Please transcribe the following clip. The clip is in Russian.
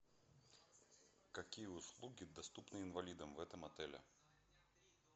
какие услуги доступны инвалидам в этом отеле